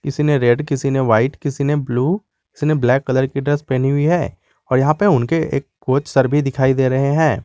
किसी ने रेड किसी ने व्हाइट किसी ने ब्लू किसी ने ब्लैक कलर की ड्रेस पहनी हुई है और यहां पे उनके एक कोच सर भी दिखाई दे रहे हैं।